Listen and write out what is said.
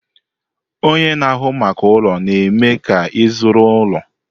Ọnye na-ahụ maka ụlọ na-eme ka ịzụrụ ụlọ.